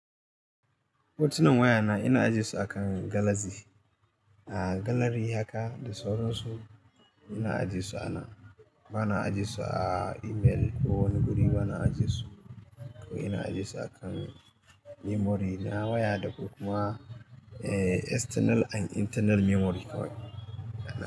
Hotunan waya na, ina ajiye su akan galaxy. A galllery haka da sauransu ina ajiyesu anan, bana ajiyesu a email ko wani guri bana ajiyesu. Ko ina ajiyesu akan memory na waya da kuma external and internal memory kawai.